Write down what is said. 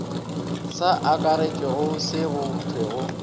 sa akaretšwe se go thwego